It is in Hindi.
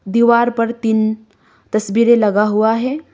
दीवार पर तीन तस्वीरे लगा हुआ है।